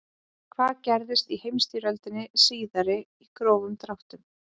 hvað gerðist í heimsstyrjöldinni síðari í grófum dráttum